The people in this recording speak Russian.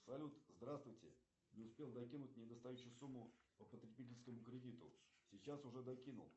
салют здравствуйте не успел докинуть недостающую сумму по потребительскому кредиту сейчас уже докинул